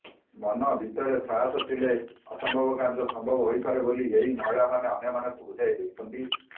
ମନ ଭିତରେ ସାହସ ଥିଲେ ଅସମ୍ଭବ କାର୍ଯ୍ୟ ସମ୍ଭବ ହୋଇପାରେ ବୋଲି ଏହି ମହିଳାମାନେ ଅନ୍ୟମାନଙ୍କୁ ବୁଝାଇ ଦେଇଛନ୍ତି